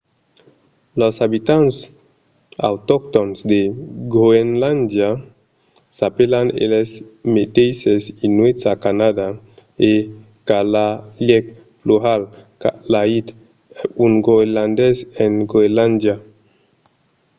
los abitants autoctòns de groenlàndia s'apèlan eles meteisses inuits a canadà e kalaalleq plural kalaallit un groenlandés en groenlàndia